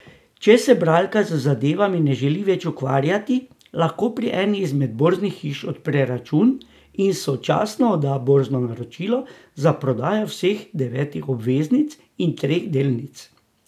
Če se bralka z zadevami ne želi več ukvarjati, lahko pri eni izmed borznih hiš odpre račun in sočasno odda borzno naročilo za prodajo vseh devetih obveznic in treh delnic.